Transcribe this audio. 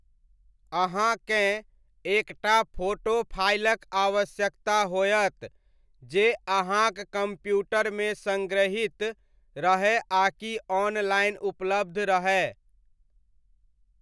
अहाँकेँ एक टा फोटो फाइलक आवश्यकता होयत जे अहाँक कम्प्यूटरमे सङ्ग्रहीत रहय आकि ऑनलाइन उपलब्ध रहय।